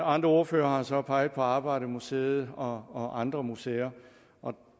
andre ordførere har så peget på arbejdermuseet og og andre museer og